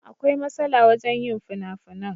Akwai masala wajen yin finafinan.